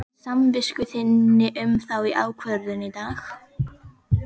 Hvað finnst samvisku þinni um þá ákvörðun í dag?